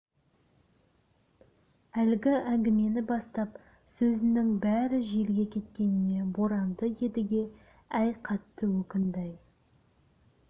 әлгі әңгімені бастап сөзінің бәрі желге кеткеніне боранды едіге әй қатты өкінді-ай